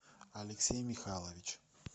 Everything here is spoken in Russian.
алексей михайлович